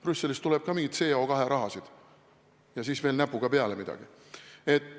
Brüsselist tuleb ka mingeid CO2 rahasid ja siis veel näpuotsaga peale midagi.